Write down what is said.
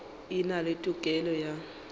e na le tokelo ya